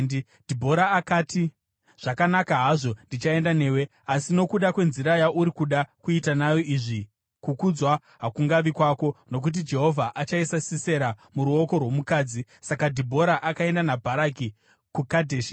Dhibhora akati, “Zvakanaka hazvo, ndichaenda newe. Asi nokuda kwenzira yauri kuda kuita nayo izvi, kukudzwa hakungavi kwako, nokuti Jehovha achaisa Sisera muruoko rwomukadzi.” Saka Dhibhora akaenda naBharaki kuKadheshi,